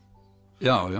já já